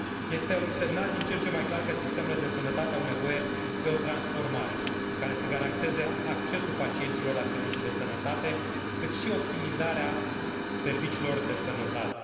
Este un semnal din ce în ce mai clar că sistemele de sănătate au nevoie de o transformare care să garanteze accesul pacienților la servicii de sănătate, cât și optimizarea serviciilor de sănătate.